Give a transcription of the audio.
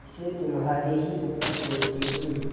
इसे तुम्हारे ही ऊपर छोड़ती हूँ